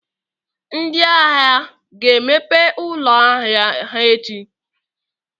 Ndị ahịa ga-emepe ụlọ ahịa ha echi?